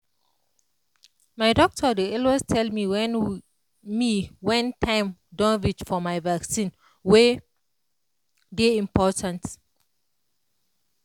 my doctor dey always tell me wen me wen time don reach for my vaccine wey dey important